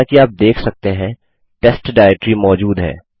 जैसा कि आप देख सकते हैं टेस्ट डाइरेक्टरी मौजूद है